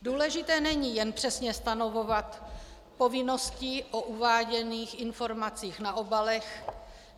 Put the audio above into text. Důležité není jen přesně stanovovat povinnosti o uváděných informacích na obalech.